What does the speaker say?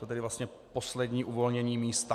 Toto je vlastně poslední uvolnění místa.